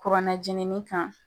Kuranɛ jenini kan.